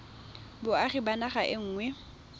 boagi ba naga e nngwe